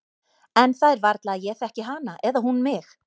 En það er varla að ég þekki hana eða hún mig.